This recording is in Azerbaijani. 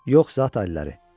Yox, zaat alilləri.